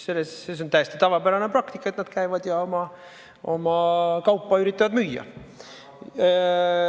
See on täiesti tavapärane praktika, et nad käivad ja üritavad oma kaupa müüa.